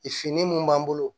Fini mun b'an bolo